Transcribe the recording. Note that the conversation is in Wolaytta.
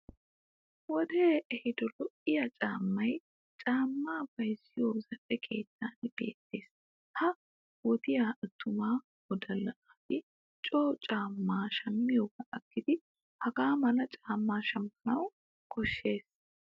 Wodee ehido lo'iya caammay caammaa bayzziyo zal'e keettan beettes. Ha wodiya attuma wodalla naati coo caammaa shammiyoogaa aggidi hagaa mala caammaa shammana koshshes.